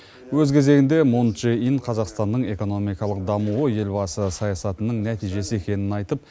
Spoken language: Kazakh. өз кезегінде мун чжэ ин қазақстанның экономикалық дамуы елбасы саясатының нәтижесі екенін айтып